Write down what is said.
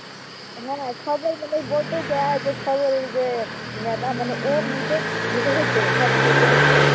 না না ছয়জন মিলেই বলছে যে অ্যাঁ যে খবরের যে . মানে ও নিজেই হেসে ফেলেছে খবর বলতে বলতে